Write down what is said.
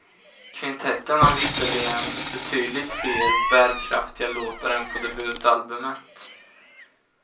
Kvintetten har visserligen betydligt fler bärkraftiga låtar än på debutalbumet.